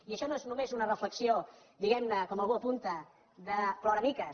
i això no és només una reflexió diguem ne com algú apunta de ploramiques